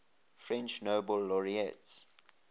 french nobel laureates